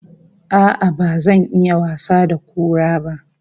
A'a, ba zan iya wasa da kura ba